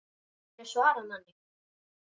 GETURÐU SVARAÐ MANNI!